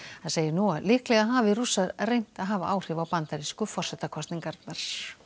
hann segir nú að líklega hafi Rússar reynt að hafa áhrif á bandarísku forsetakosningarnar